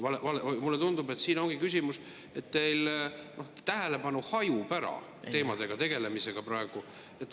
Ja mulle tundub, et siin ongi küsimus, et teil tähelepanu hajub ära teemadega tegelemisega praegu.